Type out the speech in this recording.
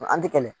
An tɛ kɛlɛ